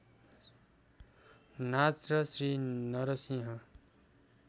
नाच र श्री नरसिंह